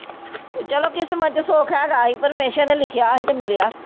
ਚਲੋ ਕਿਸਮਤ ਚ ਸੁੱਖ ਹੈ ਆਹੀ ਪ੍ਰਮੇਸ਼ਰ ਨੇ ਲਿਖਿਆ ਆਹੀ ਤੇ ਮਿਲਿਆ।